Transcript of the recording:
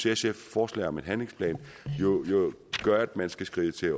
sfs forslag om en handlingsplan jo gør at man skal skride til